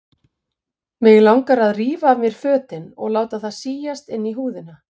Mig langaði til að rífa af mér fötin og láta það síast inn í húðina.